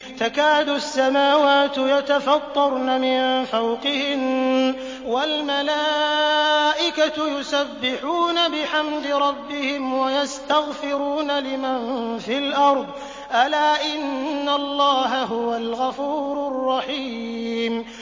تَكَادُ السَّمَاوَاتُ يَتَفَطَّرْنَ مِن فَوْقِهِنَّ ۚ وَالْمَلَائِكَةُ يُسَبِّحُونَ بِحَمْدِ رَبِّهِمْ وَيَسْتَغْفِرُونَ لِمَن فِي الْأَرْضِ ۗ أَلَا إِنَّ اللَّهَ هُوَ الْغَفُورُ الرَّحِيمُ